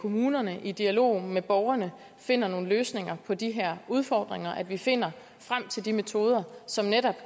kommunerne i dialog med borgerne finder nogle løsninger på de her udfordringer altså at vi finder frem til de metoder som netop